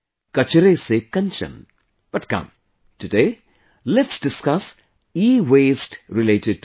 'Kachre se Kanchan', but come, today, let's discuss EWaste related to this